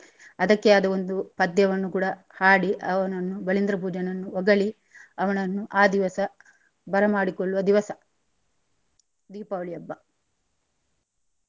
ಅದಕ್ಕೆ ಅದು ಒಂದು ಪದ್ಯವನ್ನು ಕೂಡಾ ಹಾಡಿ ಅವನನ್ನು ಬಲಿಂದ್ರ ಪೂಜನನ್ನು ಹೊಗಲಿ ಅವನನ್ನು ಆ ದಿವಸ ಬರಮಾಡಿಕೊಳ್ಳುವ ದಿವಸ ದೀಪಾವಳಿ ಹಬ್ಬ.